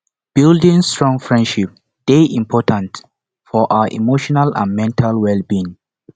building strong friendships dey important for our emotional and mental wellbeing